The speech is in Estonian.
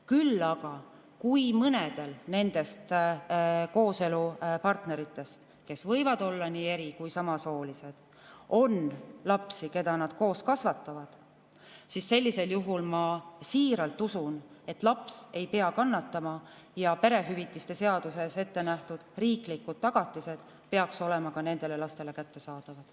Küll aga, kui mõnel nendest kooselupartneritest, kes võivad olla nii eri‑ kui ka samasoolised, on lapsi, keda nad koos kasvatavad, siis sellisel juhul, ma siiralt usun, laps ei pea kannatama ja perehüvitiste seaduses ettenähtud riiklikud tagatised peaks olema ka nendele lastele kättesaadavad.